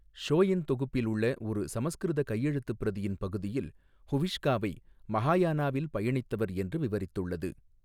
ஷோயென் தொகுப்பில் உள்ள ஒரு சமஸ்கிருத கையெழுத்துப் பிரதியின் பகுதியில் ஹுவிஷ்காவை 'மஹாயானாவில் பயணித்தவர்' என்று விவரித்துள்ளது.